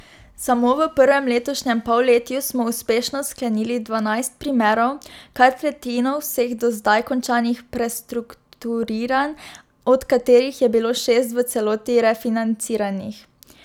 Samo v prvem letošnjem polletju smo uspešno sklenili dvanajst primerov, kar tretjino vseh do zdaj končanih prestrukturiranj, od katerih je bilo šest v celoti refinanciranih.